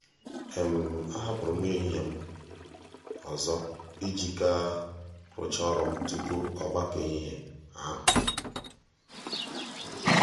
a hapụru m nri ehihie m ọzọ iji ga rụchaa ọrụ m tupu ọgbakọ ehihie ahụ.